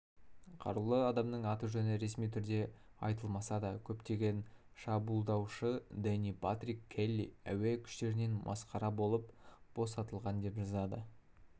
қарулы адамның аты-жөні ресми түрде айтылмаса да көптеген шабуылдаушы дэни патрик келли әуе күштерінен масқара болып босатылған деп жазады